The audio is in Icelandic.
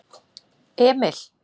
Emil